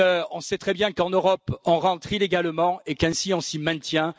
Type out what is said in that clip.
On sait très bien qu'en Europe on rentre illégalement et qu'ainsi on s'y maintient.